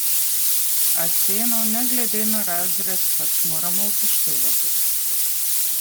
A ceno, ne glede na razred, pač moramo upoštevati.